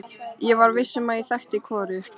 Ég var viss um að ég þekkti hvorugt.